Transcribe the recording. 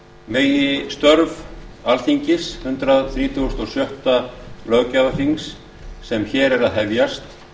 megi störf alþingis hundrað þrítugasta og sjötta löggjafarþings sem er að hefjast